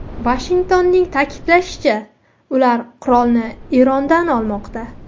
Vashingtonning ta’kidlashicha, ular qurolni Erondan olmoqda.